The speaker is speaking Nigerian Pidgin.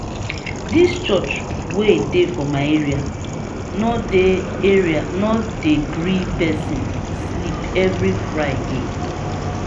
dis church wey dey for my area no dey area no dey gree pesin sleep every friday.